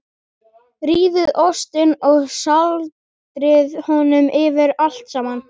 Rífið ostinn og sáldrið honum yfir allt saman.